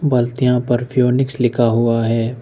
पत्तियां परफ्यूनिक्स लिखा हुआ है।